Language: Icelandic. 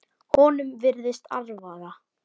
Honum virðist alvara.